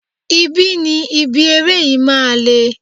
Ibi ni ibi eré yìí máa le.